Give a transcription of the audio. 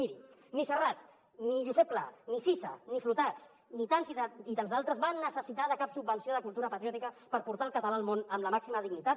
mirin ni serrat ni josep pla ni sisa ni flotats ni tants i tants d’altres van necessitar cap subvenció de cultura patriòtica per portar el català al món amb la màxima dignitat